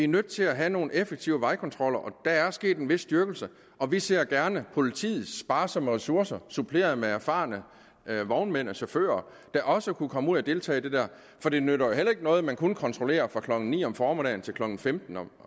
nødt til at have nogle effektive vejkontroller og der er sket en vis styrkelse og vi ser gerne at politiets sparsomme ressourcer suppleret med erfarne vognmænd og chauffører der også kunne komme ud og deltage i det der det nytter jo ikke noget hvis man kun kontrollerer fra klokken ni om formiddagen til klokken femten om